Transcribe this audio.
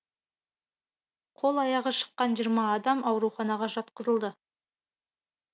қол аяғы шыққан жиырма адам ауруханаға жатқызылды